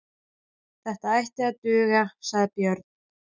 Þetta ætti að duga, sagði Björn.